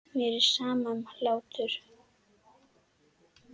Mér er sama um hlátur.